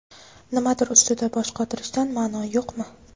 Nimadir ustida bosh qotirishdan ma’no yo‘qmi?